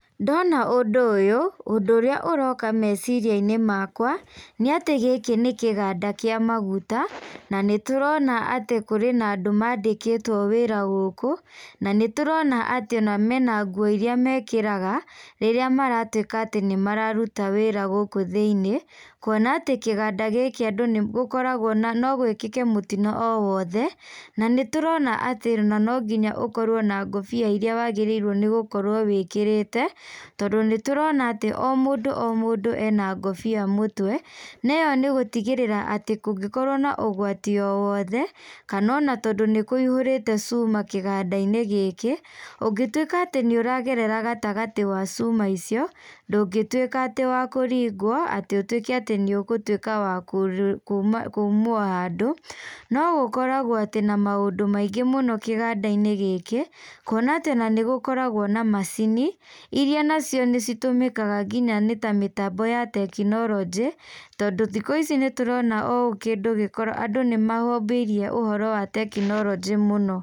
Ndona ũndũ ũyũ, ũndũ ũrĩa ũroka meciriainĩ makwa, nĩatĩ gĩkĩ nĩ kĩganda kĩa maguta, na nĩtũrona atĩ kũrĩ na andũ mandĩkĩtwo wĩra gũkũ, na nĩtũrona atĩ ona mena nguo iria mekĩraga, rĩrĩa maratuĩka atĩ nĩmararuta wĩra gũkũ thĩinĩ, kuona atĩ kĩganda gĩkĩ andũ nĩgũkoragwo na no gwĩkĩke mũtino o wothe, na nĩ tũrona atĩ ona no nginya ũkorwo na ngobia iria wagĩrĩirwo nĩ gũkorwo wĩkĩrĩte, tondũ nĩtũrona atĩ o mũndũ o mũndũ ena ngũbia mũtwe, na ĩyo nĩgũtigĩrĩra atĩ kũngĩkorwo na ũgwati o wothe, kana ona tondũ nĩkũihũrĩte cuma kĩgandainĩ gĩkĩ, ũngĩtuĩka atĩ nĩũragerera gatagatĩ wa cuma icio, ndũngĩtuĩka atĩ wa kũringwo atĩ ũtuĩke atĩ nĩũgũtuĩka wa kuma kumwo handũ, no gũkoragwo atĩ na maũndũ maingĩ mũno kĩgandainĩ gĩkĩ, kuona atĩ na nĩgũkoragwo na macini, iria nacio nĩ citũmĩkaga nginya nĩta mĩtambo ya tekinoronjĩ, tondũ thikũ ici nĩtũrona o kĩndũ andũ nĩmahĩmbĩirie ũhoro wa tekinoronjĩ mũno.